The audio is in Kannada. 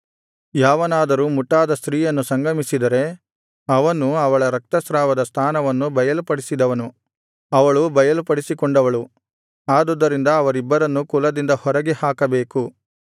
ಯಾವನಾದರೂ ಮುಟ್ಟಾದ ಸ್ತ್ರೀಯನ್ನು ಸಂಗಮಿಸಿದರೆ ಅವನು ಅವಳ ರಕ್ತಸ್ರಾವದ ಸ್ಥಾನವನ್ನು ಬಯಲುಪಡಿಸಿದವನು ಅವಳು ಬಯಲುಪಡಿಸಿಕೊಂಡವಳು ಆದುದರಿಂದ ಅವರಿಬ್ಬರನ್ನು ಕುಲದಿಂದ ಹೊರಗೆ ಹಾಕಬೇಕು